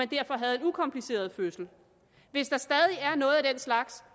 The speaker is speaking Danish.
derfor havde en ukompliceret fødsel hvis der stadig er noget af den slags